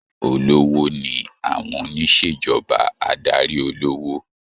Olówó ni àwọn onisejọba adarí olówó.